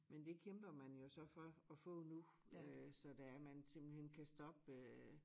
Men det kæmper man jo så for at få nu øh så det er man simpelthen kan stoppe øh